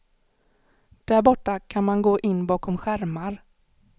Därborta kan man gå in bakom skärmar.